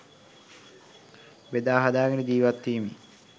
බෙදා හදාගෙන ජීවත්වීමේ